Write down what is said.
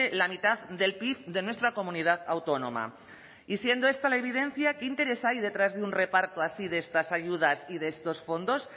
la mitad del pib de nuestra comunidad autónoma y siendo esta la evidencia qué interés hay detrás de un reparto así de estas ayudas y de estos fondos